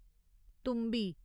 तुम्बी